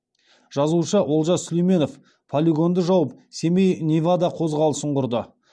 жазушы олжас сүлейменов полигонды жауып семей невада қозғалысын құрды